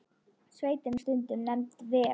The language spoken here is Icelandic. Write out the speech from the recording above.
Sveitin er stundum nefnd Ver.